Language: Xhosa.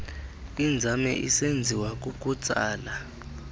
inzame isenziwa kukutsala